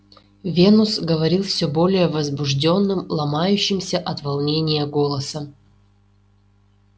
венус говорил всё более возбуждённым ломающимся от волнения голосом